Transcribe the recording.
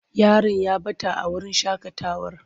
Yaron ya ɓata a wurin shaƙatawar.